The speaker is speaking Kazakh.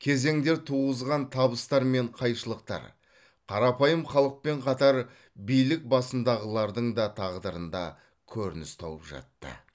кезеңдер туғызған табыстар мен қайшылықтар қарапайым халықпен қатар билік басындағылардың да тағдырында көрініс тауып жатты